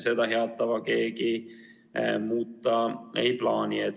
Seda head tava keegi muuta ei plaani.